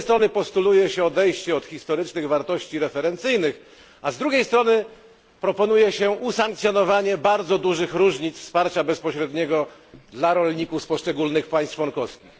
Z jednej strony postuluje się odejście od historycznych wartości referencyjnych, a z drugiej strony proponuje się usankcjonowanie bardzo dużych różnic wsparcia bezpośredniego dla rolników z poszczególnych państw członkowskich.